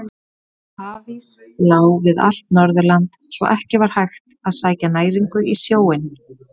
Hafís lá við allt Norðurland svo að ekki var hægt að sækja næringu í sjóinn.